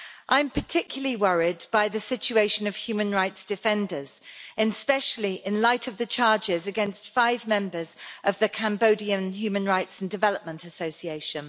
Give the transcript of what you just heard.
I'm particularly worried by the situation of human rights defenders, especially in light of the charges against five members of the Cambodian Human Rights and Development Association.